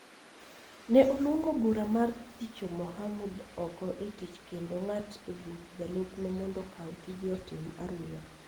ne oluongo bura mar thicho Mohamud oko e tich kendo ng�at buch jalupne mondo okaw tije otim aruya.